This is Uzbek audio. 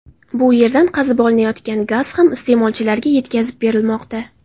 Bu yerdan qazib olinayotgan gaz ham iste’molchilarga yetkazib berilmoqda.